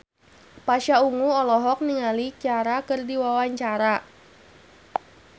Pasha Ungu olohok ningali Ciara keur diwawancara